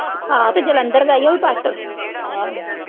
ਹਾਂ ਤੇ ਜਲੰਧਰ ਦਾ ਈ ਐ ਉਹ ਵੀ ਪਸਤ ਆਹ